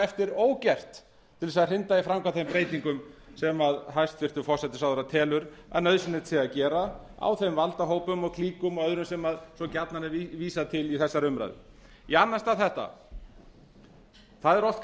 eftir ógert til að hrinda í framkvæmd þeim breytingum sem hæstvirtur forsætisráðherra telur að nauðsynlegt sé að gera á þeim valdahópum og klíkum og öðru sem svo gjarnan er vísað til í þessari umræðu í annan stað þetta það er oft